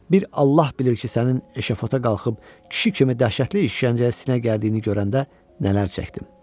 Bir Allah bilir ki, sənin eşafota qalxıb kişi kimi dəhşətli işgəncəyə sinə gərdiyini görəndə nələr çəkdim.